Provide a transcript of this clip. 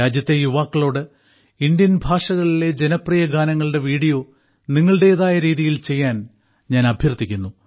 രാജ്യത്തെ യുവാക്കളോട് ഇന്ത്യൻ ഭാഷകളിലെ ജനപ്രിയ ഗാനങ്ങളുടെ വീഡിയോ നിങ്ങളുടേതായ രീതിയിൽ ചെയ്യാൻ ഞാൻ അഭ്യർത്ഥിക്കുന്നു